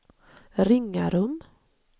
Ringarum